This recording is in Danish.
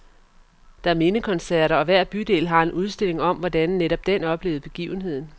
Der er mindekoncerter, og hver bydel har en udstilling om, hvordan netop den oplevede begivenheden.